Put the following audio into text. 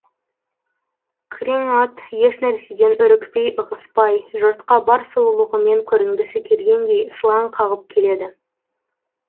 күрең ат еш нәрседен үрікпей ығыспай жұртқа бар сұлулығымен көрінгісі келгендей сылаң қағып келеді